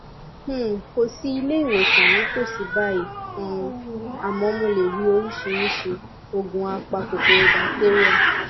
um kò sí ilé ìwòsàn ní ìtòsí báyìí um àmọ mo lè rí oríṣiríṣi òògùn apa kòkòrò batéríà